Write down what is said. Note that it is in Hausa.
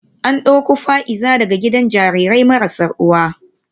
An dauko Fa’iza daga gidan jarirai marasa uwa